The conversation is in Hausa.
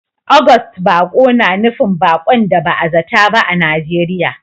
August baƙo na nufin baƙon da ba a zata ba a Najeriya